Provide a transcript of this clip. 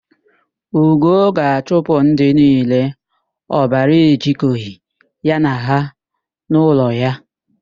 Ugo ga-achụpụ ndị niile ọbara ejikọghị ya na ha n'ụlọ ya.